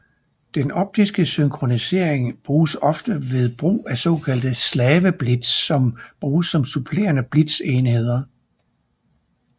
Den optiske synkronisering bruges ofte ved brug af såkaldte slaveblitz som bruges som supplerende blitzenheder